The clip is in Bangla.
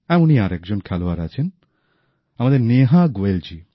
এমনই আর একজন খেলোয়াড় আছেন আমাদের নেহা গোয়েলজী